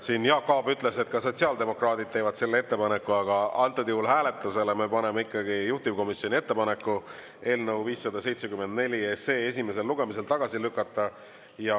Siin Jaak Aab ütles, et ka sotsiaaldemokraadid teevad selle ettepaneku, aga antud juhul hääletusele me paneme ikkagi juhtivkomisjoni ettepaneku eelnõu 574 esimesel lugemisel tagasi lükata.